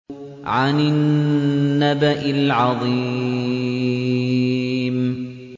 عَنِ النَّبَإِ الْعَظِيمِ